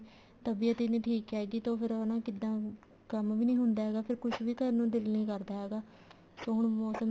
ਤਬੀਅਤ ਹੀ ਨੀ ਠੀਕ ਹੈਗੀ ਤਾਂ ਫ਼ੇਰ ਉਹ ਹਨਾ ਕਿੱਦਾਂ ਕੰਮ ਵੀ ਨੀ ਹੁੰਦਾ ਹੈਗਾ ਫ਼ੇਰ ਕੁੱਛ ਵੀ ਕਰਨ ਨੂੰ ਦਿਲ ਨੀ ਕਰਦਾ ਹੈਗਾ ਹੁਣ ਮੋਸਮ